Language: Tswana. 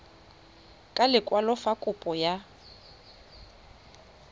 ka lekwalo fa kopo ya